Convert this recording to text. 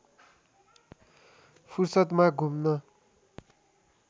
फुर्सदमा घुम्न